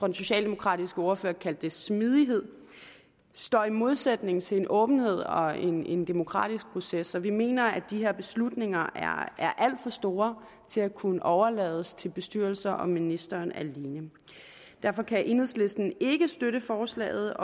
den socialdemokratiske ordfører kaldte det smidighed står i modsætning til en åbenhed og en en demokratisk proces så vi mener at de her beslutninger er alt for store til at kunne overlades til bestyrelser og ministeren alene derfor kan enhedslisten ikke støtte forslaget